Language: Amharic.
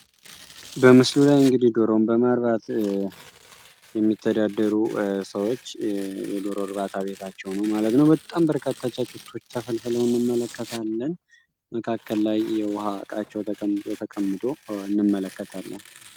በምስሉ ላይ እንግዲህ ዶሮን በማርባት የሚተዳደሩ ሰዎች የዶሮ እርባታ ቤታቸው ነው ማለት ነው በጣም በርካታ ጫጩቶች ተፈልፈለው እንመለከታለን በመካከላቸው የውሃ እቃቸው ተቀምጦ ተቀምጦ እንመለከታለን።